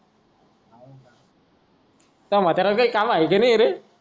त्या म्हाताऱ्याला काय काम हाय कि नाय रे